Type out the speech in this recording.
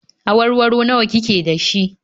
Awarwaro nawa ki ke da shi?